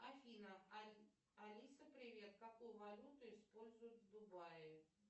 афина алиса привет какую валюту используют в дубае